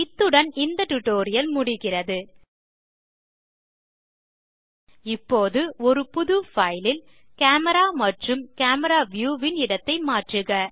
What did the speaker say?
இத்துடன் இந்த டியூட்டோரியல் முடிகிறது இப்போது ஒரு புது பைல் ல் கேமரா மற்றும் கேமரா வியூ ன் இடத்தை மாற்றுக